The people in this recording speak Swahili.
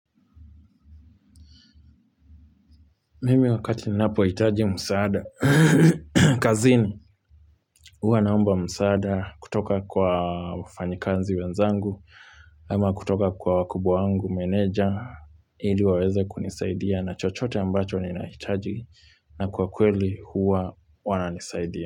Mimi wakati ni napo itaji msaada. Kazini huwa naomba msaada kutoka kwa wafanyakazi wenzangu ama kutoka kwa wakubwa wangu meneja ili waweze kunisaidia na chochote ambacho ninahitaji na kwa kweli huwa wananisaidia.